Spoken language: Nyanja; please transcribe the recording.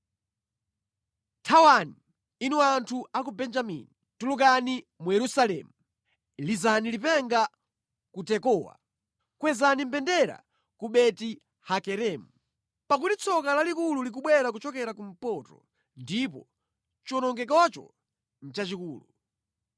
“Thawani, inu anthu a ku Benjamini! Tulukani mu Yerusalemu! Lizani lipenga ku Tekowa! Kwezani mbendera ku Beti-Hakeremu! Pakuti tsoka lalikulu likubwera kuchokera kumpoto, ndipo chiwonongekocho nʼchachikulu.